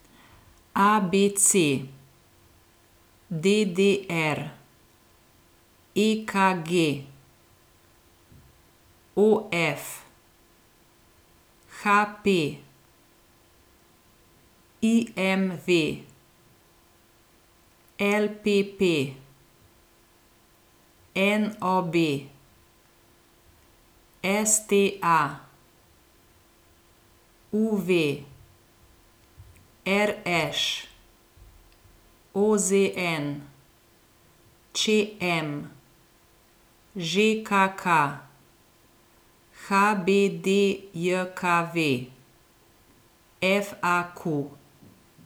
A B C; D D R; E K G; O F; H P; I M V; L P P; N O B; S T A; U V; R Š; O Z N; Č M; Ž K K; H B D J K V; F A Q.